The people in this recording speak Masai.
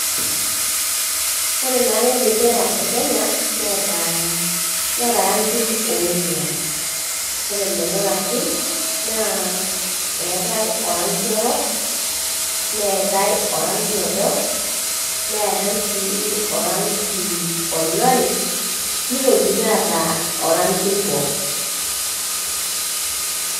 Ore naake embendera ekenya neata naake rangin onguan, ore lolo rangin naa eetae orangi orok, neatae orangi odo, neatae si orangi onyori nitokini aata orangi oibor.